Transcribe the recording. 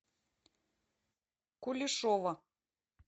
кулешова